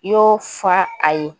N y'o fɔ a ye